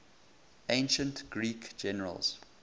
ancient greek generals